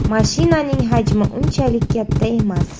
Mashinaning hajmi unchalik katta emas.